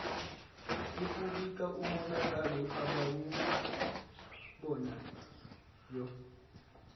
ukubika umonakalo abawubonayo